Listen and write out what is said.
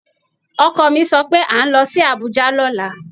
Ọkọ mi sọ pé à ń lọ sí Abuja lọ́la